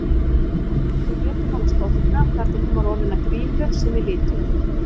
Við létum hana storkna þar til hún var orðin að grímu sem við lituðum.